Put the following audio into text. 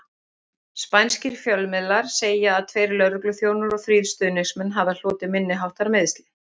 Spænskir fjölmiðlar segja að tveir lögregluþjónar og þrír stuðningsmenn hafi hlotið minniháttar meiðsli.